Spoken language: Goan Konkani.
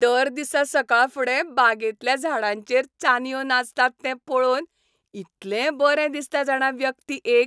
दर दिसा सकाळफुडें बागेंतल्या झाडांचेर चानयो नाचतात तें पळोवन इतलें बरें दिसता जाणा व्यक्ती एक